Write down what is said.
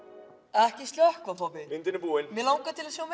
ekki slökkva pabbi myndin er búin mig langar til að sjá